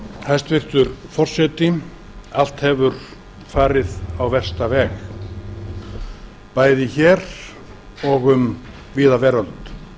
hæstvirtur forseti allt hefur farið á versta veg bæði hér og um víða veröld